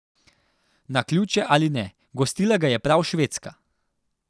Naključje ali ne, gostila ga je prav Švedska.